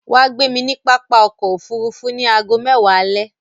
Wà gbé mi ni pápá ọkọ̀ òfurufú ni àágọ mẹ́wa alẹ̀.